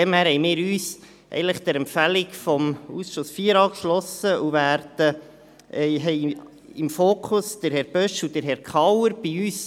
Daher haben wir uns der Empfehlung des Ausschusses IV angeschlossen und haben Herrn Bösch und Herrn Kauer im Fokus.